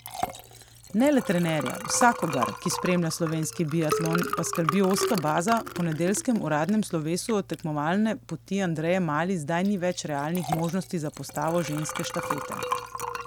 Ne le trenerja, vsakogar, ki spremlja slovenski biatlon, pa skrbi ozka baza, po nedeljskem uradnem slovesu od tekmovalne poti Andreje Mali zdaj ni več realnih možnosti za postavo ženske štafete.